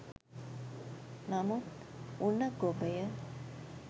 නමුත් උණ ගොබය